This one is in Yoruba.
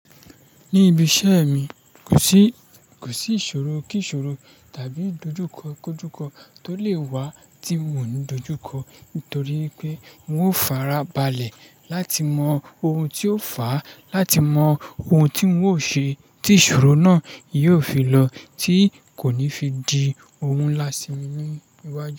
Ní ibi iṣẹ́ mi, kò sí, kò sí ìṣòro kí ìṣòro tàbí ìdojúkọ kójúkọ tó lè wá tí mò ń dojú kọ nítorí pé n ó fara balẹ̀ láti mọ ohun tó fàá, láti mọ ohun tí n ó ṣe tí ìṣòro náà yóò fi lọ tí kò ní fi di ohun láá mi ní wájú.